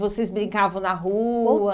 Vocês brincavam na rua? Ou